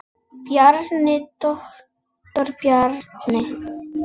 Bjarni, doktor Bjarni.